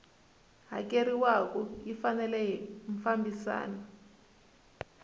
hakeriwaku yi fanele yi fambisana